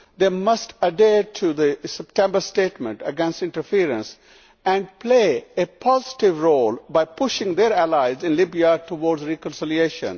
They must adhere to the September statement against interference and play a positive role by pushing their allies in Libya towards reconciliation.